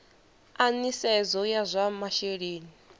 a nisedzo ya zwa masheleni